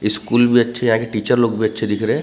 School भी अच्छे यहाँ के टीचर लोग भी अच्छे दिख रहे हैं।